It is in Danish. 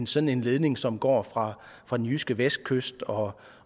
sådan en ledning som går fra fra den jyske vestkyst og